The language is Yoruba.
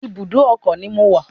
Ibùdó ọkọ̀ ni mo wà